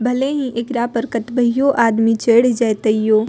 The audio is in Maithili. भले ही एकरा पर कतबैयो आदमी चढ़ जाय तैयो --